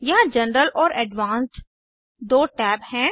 यहाँ जनरल और एडवांस्ड दो टैब हैं